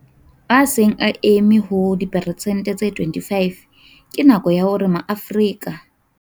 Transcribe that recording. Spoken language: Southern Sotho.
A seng a eme ho diperesente tse 25, ke nako ya hore maAfrika.